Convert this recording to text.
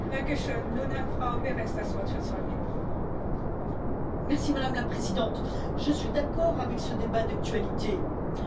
Madame la Présidente, je suis d'accord avec ce débat d'actualité la privatisation des régimes de retraite n'est pas une solution.